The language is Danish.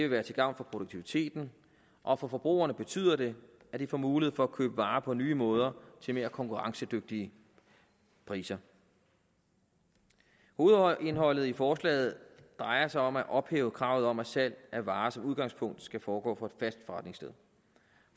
være til gavn for produktiviteten og for forbrugerne betyder det at de får mulighed for at købe varer på nye måder til mere konkurrencedygtige priser hovedindholdet i forslaget drejer sig om at ophæve kravet om at salg af varer som udgangspunkt skal foregå fra et fast forretningssted